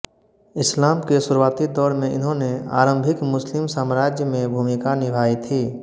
इस्लाम के शुरूआती दौर में इन्होनें आरंभिक मुस्लिम साम्राज्य में भूमिका निभाई थी